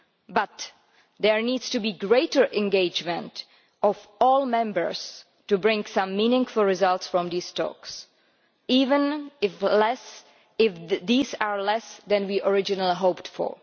But there needs to be greater engagement of all members to bring some meaningful results from these talks, even if these are less than we originally hoped for.